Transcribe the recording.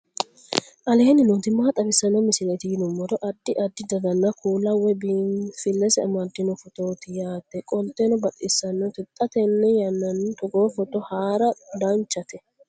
aleenni nooti maa xawisanno misileeti yinummoro addi addi dananna kuula woy biinsille amaddino footooti yaate qoltenno baxissannote xa tenne yannanni togoo footo haara danvchate